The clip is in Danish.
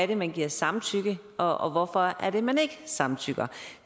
det man giver samtykke og og hvorfor er det man ikke samtykker